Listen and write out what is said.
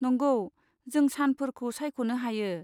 नंगौ, नों सानफोरखौ सायख'नो हायो।